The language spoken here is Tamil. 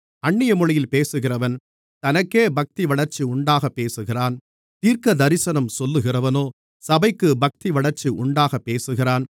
அந்நிய மொழியில் பேசுகிறவன் தனக்கே பக்திவளர்ச்சி உண்டாகப் பேசுகிறான் தீர்க்கதரிசனம் சொல்லுகிறவனோ சபைக்கு பக்திவளர்ச்சி உண்டாகப்பேசுகிறான்